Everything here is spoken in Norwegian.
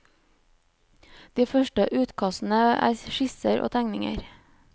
De første utkastene er skisser og tegninger.